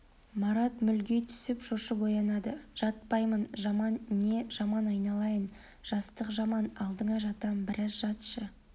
марат мүлги түсіп шошып оянады жатпаймын жаман не жаман айналайын жастық жаман алдыңа жатам біраз жатшы